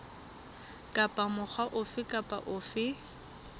kapa mokga ofe kapa ofe